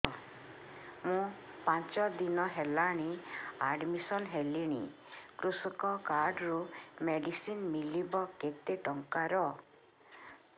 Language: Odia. ମୁ ପାଞ୍ଚ ଦିନ ହେଲାଣି ଆଡ୍ମିଶନ ହେଲିଣି କୃଷକ କାର୍ଡ ରୁ ମେଡିସିନ ମିଳିବ କେତେ ଟଙ୍କାର